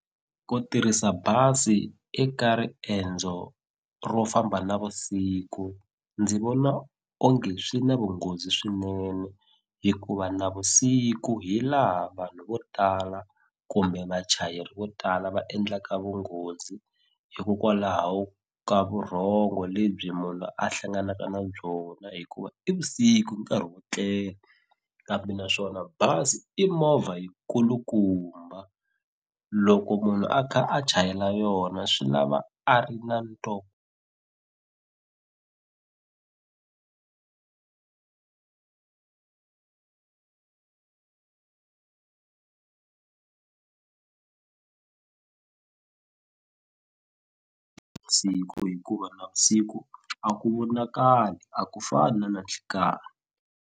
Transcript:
Ku tirhisa bazi eka riendzo ro famba navusiku ndzi vona onge swi na vunghozi swinene hikuva navusiku hi laha vanhu vo tala kumbe vachayeri vo tala va endlaka vunghozi hikokwalaho ka vurhongo lebyi munhu la hlanganaka na byona hikuva i vusiku nkarhi wo tlela kambe naswona bazi i movha yi kulukumba loko munhu a kha a chayela yona swi lava a ri na na siku hikuva navusiku a ku vonakali a ku fani na nanhlikani.